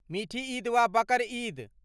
मिठी ईद वा बकर ईद?